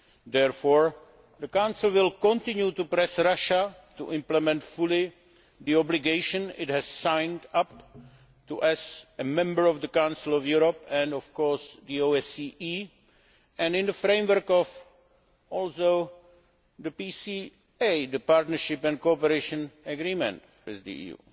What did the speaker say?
Therefore, the Council will continue to press Russia to implement fully the obligation it has signed up to as a member of the Council of Europe, and of course the OSCE, and also in the framework of the PCA the Partnership and Cooperation Agreement with the EU.